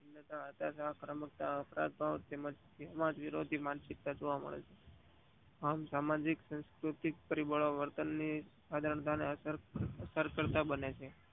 પ્રમુખતા હકારાત્મ્ક સામાજિકવિરોધીક માનસિકતા જોવા મળે છે આમ સામાજિક સાંસ્કૃતિક અને પરી બલો વર્તન ને એજન્ટને અસર કરતા